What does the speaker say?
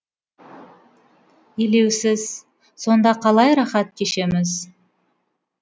елеусіз сонда қалай рахат кешеміз